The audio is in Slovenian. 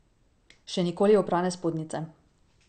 Še nikoli oprane spodnjice.